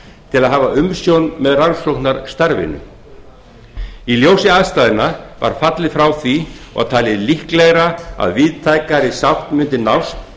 til að hafa umsjón með rannsóknarstarfinu í ljósi aðstæðna var fallið frá því og talið líklegra að víðtækari sátt mundi nást